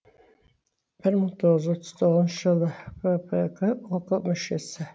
бір мың тоғыз жүз отыз екінші жылдан фкп ок мүшесі